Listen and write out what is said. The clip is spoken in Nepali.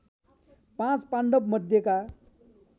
पाँच पाण्डवमध्येका